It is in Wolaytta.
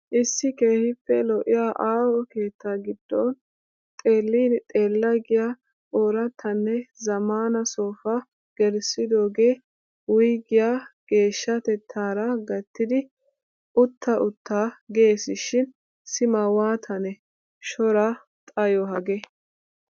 Issi keehiippe lo'iya aaho keetta gidon xeellin xeella giya orattanne zammaana sofaa gelissidoogee wuygiyaa geehshatettaara gattidi uutta utta geesishiin sima waatanne shora xayo haagee.